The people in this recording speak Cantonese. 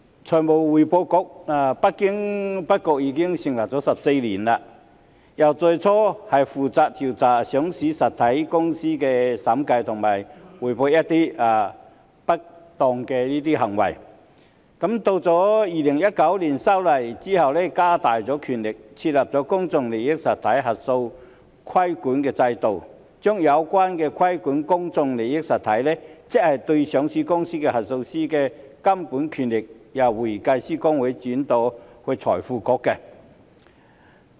財務匯報局不經不覺已經成立了14年，由最初負責調査上市實體的審計及匯報一些不當行為，到2019年修例後加大了權力，設立公眾利益實體核數師規管制度，將有關規管公眾利益實體，即上市公司核數師的監管權力，由香港會計師公會轉移到財匯局。